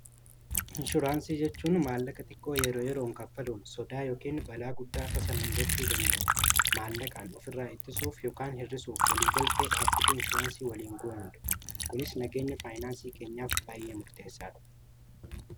Inshuraansii jechuun maallaqa xiqqoo yeroo yeroon kaffaluun sodaa yookiin balaa guddaa tasa nu muudachuu danda'u maallaqaan of irraa ittisuuf yookiin hirr'isuuf waliigaltee dhaabbata inshuraansii waliin goonu dha. kunis nagaenya faayinaansii keenyaaf baay'ee murteessaadha.